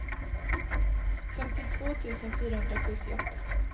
femtiotvå tusen fyrahundrasjuttioåtta